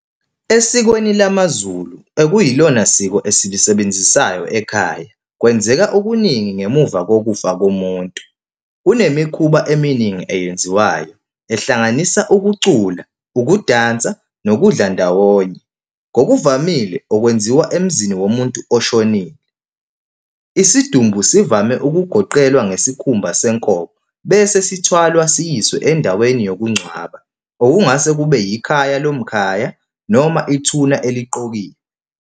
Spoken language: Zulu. Esikweni lamaZulu okuyilona siko esilisebenzisayo ekhaya, kwenzeka okuningi ngemuva kokufa komuntu. Kunemikhuba eminingi eyenziwayo ehlanganisa ukucula, ukudansa nokudla ndawonye. Ngokuvamile okwenziwa emzini womuntu oshonile. Isidumbu sivame ukugoqelwa ngesikhumba senkomo bese sithwalwa siyiswe endaweni yokungcwaba. Okungase kube yikhaya lomkhaya noma ithuna eliqokiwe.